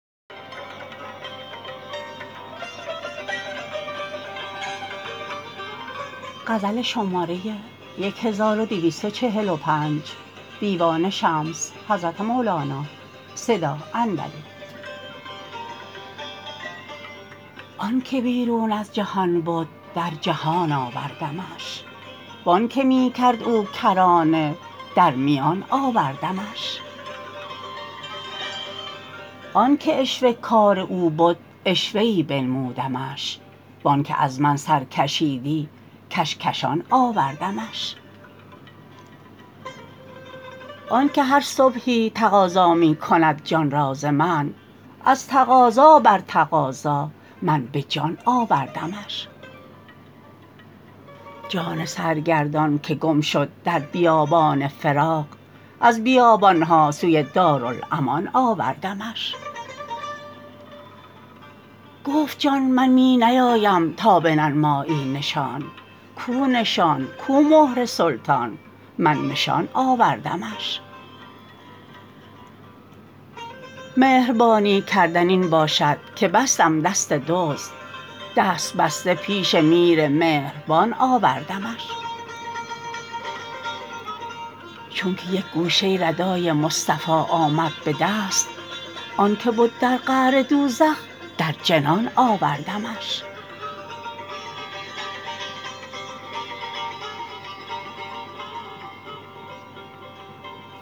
آنک بیرون از جهان بد در جهان آوردمش و آنک می کرد او کرانه در میان آوردمش آنک عشوه کار او بد عشوه ای بنمودمش و آنک از من سر کشیدی کشکشان آوردمش آنک هر صبحی تقاضا می کند جان را ز من از تقاضا بر تقاضا من به جان آوردمش جان سرگردان که گم شد در بیابان فراق از بیابان ها سوی دارالامان آوردمش گفت جان من می نیایم تا بننمایی نشان کو نشان کو مهر سلطان من نشان آوردمش مهربانی کردن این باشد که بستم دست دزد دست بسته پیش میر مهربان آوردمش چونک یک گوشه ردای مصطفی آمد به دست آنک بد در قعر دوزخ در جنان آوردمش